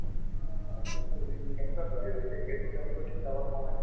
অ, বস্তুখিনি কেনেকুৱা তৈয়াৰী হৈছে সেইবোৰ তেওঁলোকৰ চিন্তা কৰাৰ সময় নাই